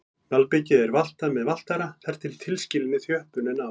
Malbikið er valtað með valtara þar til tilskilinni þjöppun er náð.